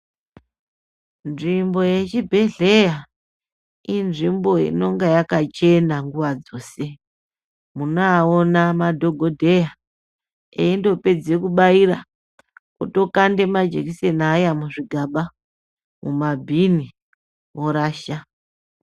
Nzvimbo yechibhedhlera inzvimbo inonga yakachena nguva dzose. Munoawona madhokodheya, eindopedze kubaira, otokande majekiseni aya muzvigaba, mumabhini vorasha.